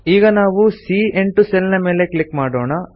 ಈಗ ನಾವು C A eight cell ಮೇಲೆ ಕ್ಲಿಕ್ ಮಾಡೋಣ